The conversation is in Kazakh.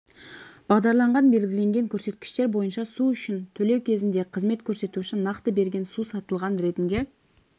бағдарланған белгіленген көрсеткіштер бойынша су үшін төлеу кезінде қызмет көрсетуші нақты берген су сатылған ретінде